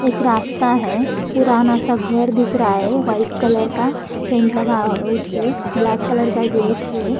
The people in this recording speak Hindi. एक रास्ता है पुराना सा घर दिख रहा है वाइट कलर का पेंट लगा हुआ है उस पे ब्लैक कलर का गेट है।